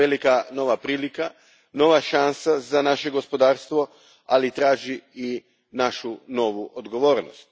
To je velika nova prilika, nova šansa za naše gospodarstvo, ali ona traži i našu novu odgovornost.